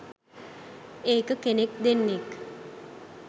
ඒක කෙනෙක් දෙන්නෙක්